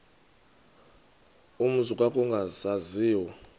umzi kuba kwakungasaziwa